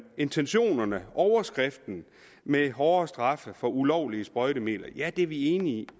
intentionerne overskriften med hårdere straffe for ulovlige sprøjtemidler ja det er vi enige i